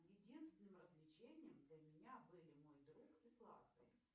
единственным развлечением для меня были мой друг и сладкое